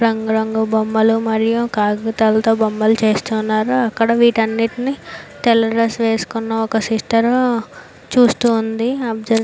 రంగు రంగుల బొమ్మలు మరియు కాగితాలతో బొమ్మలు చేస్తున్నారు. అక్కడ వీటన్నిటిని తెల్ల డ్రెస్ వేసుకున్న ఒక సిస్టర్ చూస్తుంది. ఒబ్సెర్వె --